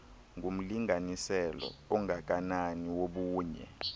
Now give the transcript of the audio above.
ngumlinganiselo ongakanani wobunye